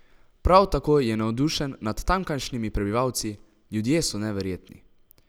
Prav tako je navdušen nad tamkajšnjimi prebivalci: "Ljudje so neverjetni.